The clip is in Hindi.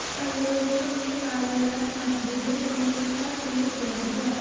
परियोजना में कार्यरत मजदूरों ने इसका तीव्र विरोध किया